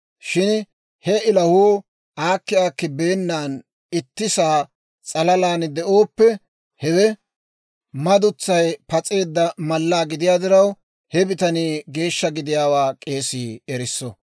Shin he ilahuu aakki aakki beennan ittisaa s'alalaan de'ooppe, hewe madutsay pas'eedda mallaa gidiyaa diraw, he bitanii geeshsha gidiyaawaa k'eesii erisso.